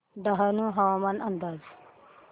डहाणू हवामान अंदाज